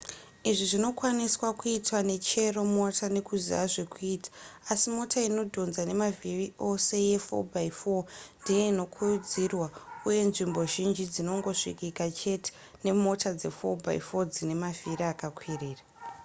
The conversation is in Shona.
izvi zvinokwaniswa kuitwa nechero mota nekuziva zvekuita asi mota inodhonza nemavhiri ose ye4x4 ndiyo inokurudzirwa uye nzvimbo zhinji dzinongosvikika chete nemota dze4x4 dzine mavhiri akakwirira